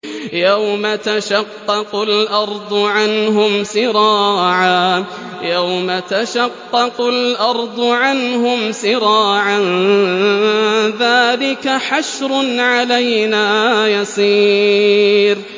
يَوْمَ تَشَقَّقُ الْأَرْضُ عَنْهُمْ سِرَاعًا ۚ ذَٰلِكَ حَشْرٌ عَلَيْنَا يَسِيرٌ